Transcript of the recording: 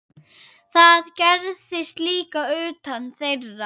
Það gerðist líka utan þeirra.